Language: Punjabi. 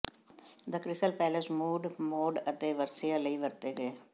ਦ ਕ੍ਰਿਸਲ ਪੈਲੇਸ ਮੂਡ ਮੋਡ ਅਤੇ ਵਰਸਿਆਂ ਲਈ ਵਰਤੇ ਗਏ